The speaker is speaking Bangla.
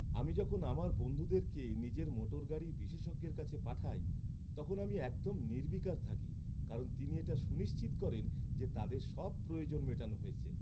আমি যখন আমার বন্ধুদেরকে নিজের মোটরগাড়ির বিশেষজ্ঞের কাছে পাঠাই তখন আমি একদম নির্বিকার থাকি কারণ তিনি এটা সুনিশ্চিত করেন যে তাদের সব প্রয়োজন মেটানো হয়েছে।